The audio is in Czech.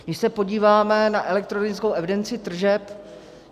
Když se podíváme na elektronickou evidenci tržeb.